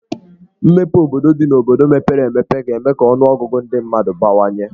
Mmepe obodo dị n'obodo mepere emepe ga-eme ka ọnụọgụgụ ndị mmadụ n'abawanye.